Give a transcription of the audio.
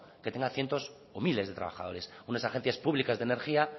que tengas cientos o miles de trabajadores unas agencias públicas de energía